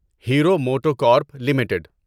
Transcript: hero MotoCorp limited